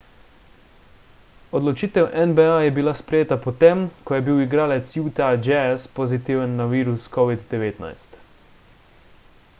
odločitev nba je bila sprejeta potem ko je bil igralec utah jazz pozitiven na virus covid-19